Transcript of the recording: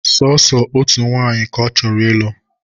Sooso otu nwanyị ka ọ chọrọ ịlụ